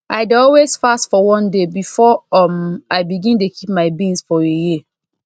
i dey always fast for one day before um i begin dey keep my beans for a year